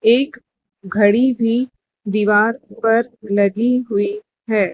एक घड़ी भी दीवार पर लगी हुई है।